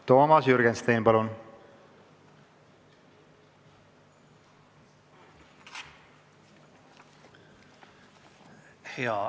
Toomas Jürgenstein, palun!